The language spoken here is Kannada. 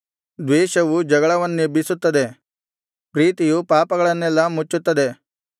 ದ್ವೇಷವು ಜಗಳಗಳನ್ನೆಬ್ಬಿಸುತ್ತದೆ ಪ್ರೀತಿಯು ಪಾಪಗಳನ್ನೆಲ್ಲಾ ಮುಚ್ಚುತ್ತದೆ